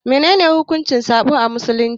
Menene hukuncin sabo a Musulunci?